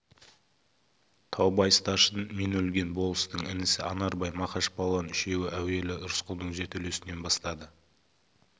таубай старшын мен өлген болыстың інісі анарбай мақаш палуан үшеуі әуелі рысқұлдың жертөлесінен бастады